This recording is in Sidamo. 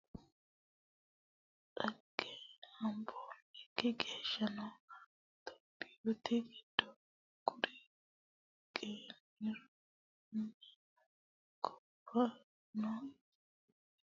Dhagge habbanokki gahshaano tophiyite giddo kuri geinorenna gobbate daafira waaga baatino gashshaanoti yee naqashe ikkano manninke baallu giwanohu kayinni loosammi baalira diqilo buuranni qussanni calla ofollanno, loosamire irkisanni, loosamara hasi'nannire xa'minanni ha'niro mayi danchi bai.